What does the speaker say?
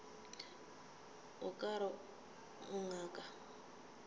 o ka re o ngaka